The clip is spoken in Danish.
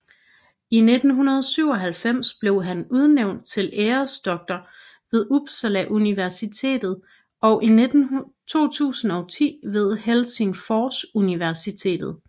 I 1997 blev han udnævnt til æresdoktor ved Uppsala Universitet og i 2010 ved Helsingfors Universitet